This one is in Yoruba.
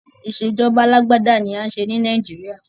Ìṣèjọba alágbádá ni à ń ṣe ni Nàìjíríà.